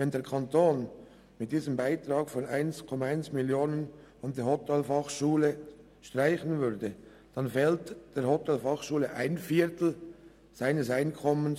Wenn der Kanton diesen Beitrag von 1,1 Mio. Franken an die Hotelfachschule streichen würde, fehlte der Hotelfachschule ein Viertel ihres Einkommens.